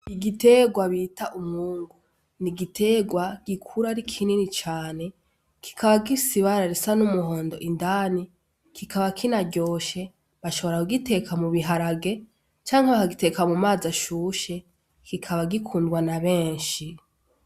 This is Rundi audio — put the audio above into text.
Igiterwa bita umwungu, ni igiterwa gikura ari kinini cane kikaba gifise ibara risa n'umuhondo indani, kikaba kinaryoshe. Bashobora kugiteka mu biharage canke bakagiteka mu mazi ashushe, kikaba gikundwa na benshi.